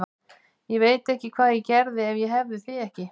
Ég veit ekki hvað ég gerði ef ég hefði þig ekki.